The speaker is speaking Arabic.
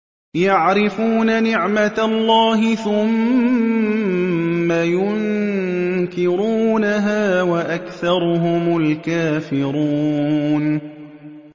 يَعْرِفُونَ نِعْمَتَ اللَّهِ ثُمَّ يُنكِرُونَهَا وَأَكْثَرُهُمُ الْكَافِرُونَ